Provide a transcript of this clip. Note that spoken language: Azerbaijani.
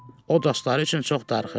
O dostları üçün çox darıxırdı.